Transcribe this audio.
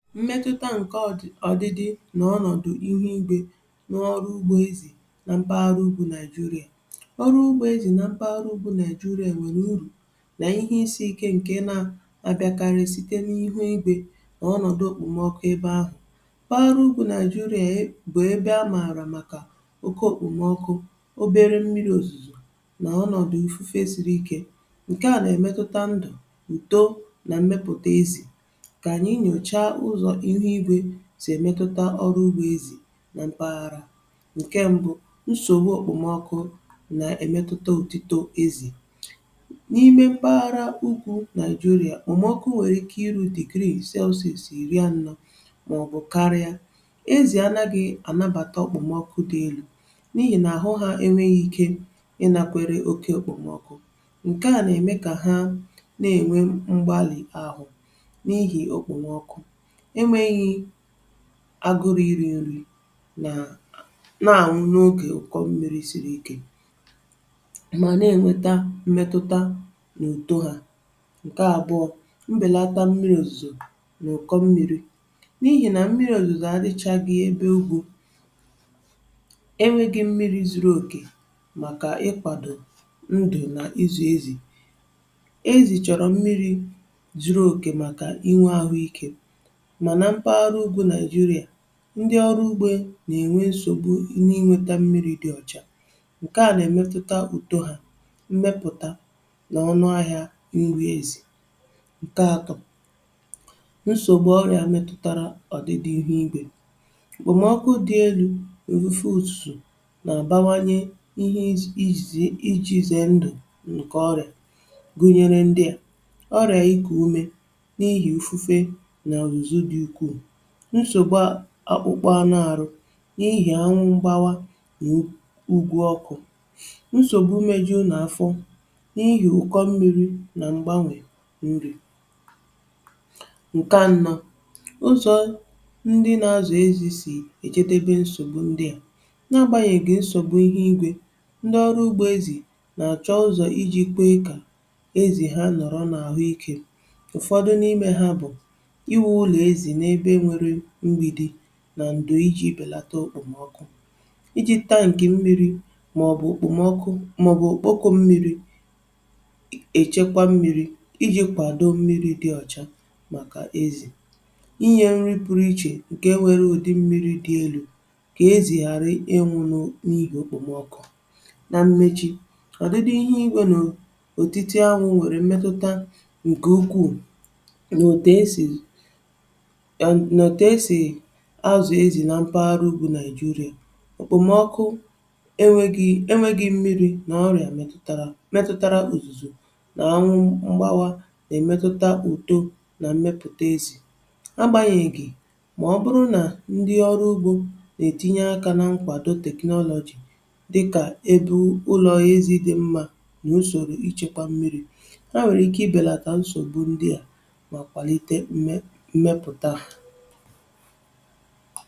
Mmetụta nke ọdịdị, um n’ọnọdụ ihu igwe n’ọrụ ugbo ezì na mpaghara ugbo Naịjịrịa, ọ bụ̀kwa ihe dị mkpa, n’ihi na ọrụ ugbo ezì na mpaghara ugbo Naịjịrịa nwèrè uru na ihe isiike dị iche iche nke na-abịakarị site n’ihu igwe nà ọnọdụ okpomọkụ ebe ahụ̀... Paghara ugbo Naịjịrịa, um, amara maka oke okpomọkụ, obere mmiri̇ ozuzo, nà ọnọdụ ifufe siri ike. Nke a, na-emetụta ndụ̀, uto, na mmepụta ezì sì èmetụta ọrụ ugbo ezì na mpaghara ahụ̀. Ǹkè mbụ̇, nsògbu òkpòmọkụ nà-èmetụta ùtìto ezì n’ime mpaghara ugwu Naịjịrịa. Òmòkpu nwere ike iru di grii, sọsìsì, iri ya n’ahụ̀, màọbụ̀ karia. um Ezì, um, anàghị̇ ànabàta okpomọkụ dị elu, n’ihi nà àhụ ha enwèrèghi ike ịnàkwere oke òkpòmọkụ. Ǹke a, um, nà-ème kà ha na-ènwe mgbalị̀ ahụ̀ n’ihi okpomọkụ, agụrụ̀, iri̇ nri̇ na ọbụna ịnwụ̀ n’ogè ụkọ̀ mmiri̇ siri ike, na-emetụta uto ha. Ǹkè àbụọ̇, mbèlata mmiri̇ òzùzò n’ogè ụkọ̀ mmiri̇ um n’ihi na mmiri̇ òzùzò adịchà gị̇ ebe ugbo e nwèrèghi mmiri̇ zuru òkè maka ịkwàdo ndù nà izù ezì... Ezì chọ̀rọ̀ mmiri̇ zuru òkè, um, maka inwè àhụ ike. Ndị ọrụ ugbo nà-ènwe nsògbu n’inweta mmiri̇ dị ọ̀chà, nke a nà-emetụta uto, mmepụta, nà ọnụ ahịá nri ezì. Ǹkè atọ̇, nsògbu ọrụ̇ a metụtara ọ̀dị̀ dị ihu igwe um bụ̀ mọọkụ dị elu̇ n’ùfù ùsù, nà-àbawanye ihe iji̇ze ndụ̀. Ǹkè ọrịà gụ̀nyere, um, nsògbu akpụkpọ̀ anụ̀ arụ̀ n’ihi anwụ̀ gbawa ugwu ọkụ̀, nsògbu mejù n’àfọ̀ n’ihi ụkọ̀ mmiri̇, nà mgbànwè nri̇... Ǹkè anọ̇, ụzọ̀ ndị nà-azụ̀ ezì sì ejidebe nsògbu ndị à. N’agbanyèghị nsògbu ndị ahụ̀, ndị ọrụ ugbo ezì nà-achọ̀ ụzọ̀ iji̇ kwàà ezì ha nọrọ̀ n’àhụ ike. Ụ̀fọdụ n’ime ha, um, bụ̀ ịkụ̀ nà ndò iji̇ bèlata okpomọkụ, iji̇ tankị̀ um mmiri̇, màọbụ̀ ijì mmiri̇ oyi. Ha na-echekwa mmiri̇ iji̇ kwàdo mmiri̇ dị ọ̀chà maka ezì, inye nri pụrụ iche, ǹke nwere odì mmiri̇ dị elu̇, ka ezì ghàra ịnwụ̇ n’ihi okpomọkụ. Na mmechi̇, um, ọdịdị dị̀, ihu igwe, nà òtitè anwụ̀ nwèrè mmetụta ǹkè ukwù nà òtù esi nà ètù esi àzụ̀ ezì nà mpaghara ugwu Naịjịrịa. Òkpòmọkụ, enweghi mmiri̇, nà ọrịà metụtara òzùzò nà anwụ mgbawa um nà-èmetụta uto nà mmepụta ezì. Agbanyèghị, um, ọ bụrụ nà ndị ọrụ ugbo nà-ètinye akà nà mkwàdo technology dịkà ebe ụlọ̀ ezì dị mma, nà usorȯ ichekwà mmiri̇, e nwèrè ike ibèlata nsògbu ndị à, mà kwàlite mmepụta ha.